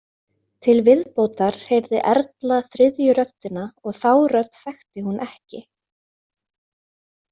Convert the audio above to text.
Til viðbótar heyrði Erla þriðju röddina og þá rödd þekkti hún ekki.